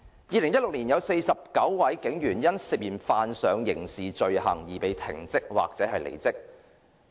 2016年有49位警員因涉嫌犯上刑事罪行而被停職或離職。